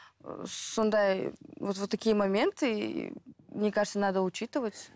сондай вот вот такие моменты мне кажется надо учитывать